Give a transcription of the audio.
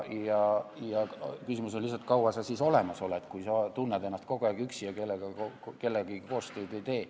Küsimus on lihtsalt, kui kaua sa siis olemas oled, kui sa tunned ennast kogu aeg üksi ja kellegagi koostööd ei tee.